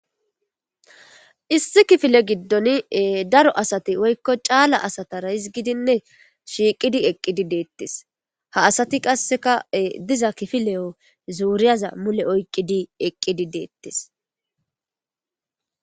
Issi kifile giddon daro asati woykko caala asatara hizgidinne shiiqidi eqqidi deettes. Ha asati qassekka diza kifileyo zuriyaza mule oyiqqidi eqqidi deettes.